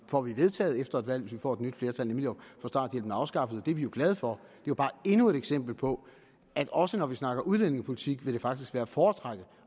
får vedtaget efter et valg hvis vi får et nyt flertal nemlig at få starthjælpen afskaffet og det er vi jo glade for det er bare endnu et eksempel på at også når vi snakker udlændingepolitik vil det faktisk være at foretrække